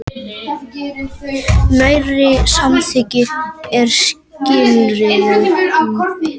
Nærri samþykki með skilyrðum